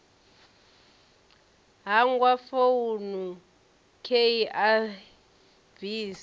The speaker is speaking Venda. hangwa founu khei a bvisa